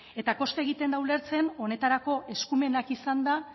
eta kosta egiten da ulertzen honetarako eskumenak izanda